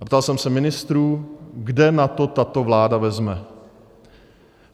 A ptal jsem se ministrů, kde na to tato vláda vezme.